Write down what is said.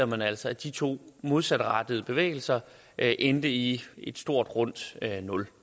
man altså at de to modsatrettede bevægelser endte i et stort rundt nul